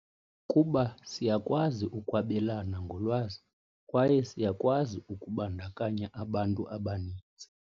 Kuba siyakwazi ukwabelana ngolwazi, kwaye siyakwazi ukubandakanya abantu abaninzi.